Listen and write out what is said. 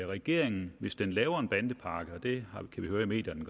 regeringen hvis den laver en bandepakke og det kan vi høre i medierne